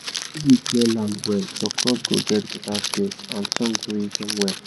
if you clear land well your crops go get better space and sun go reach dem well